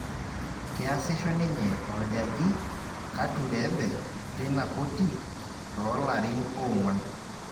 Keasisho ninye orjaji Katureebe teina koti toolarin oong'uan